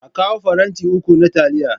A kawo faranti uku na taliya.